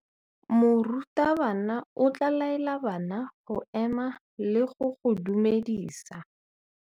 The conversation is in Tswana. Morutabana o tla laela bana go ema le go go dumedisa.